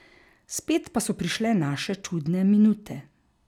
Spet pa so prišle naše čudne minute.